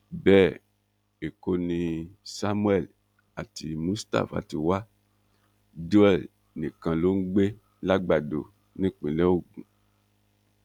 bẹẹ ẹkọ ni samuel àti mustapha ti wa joel nìkan ló ń gbé làgbàdo nípínlẹ ogun